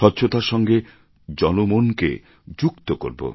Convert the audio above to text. স্বচ্ছতার সঙ্গে জনমনকে যুক্ত করব